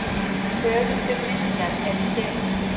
Höfundur myndar er James.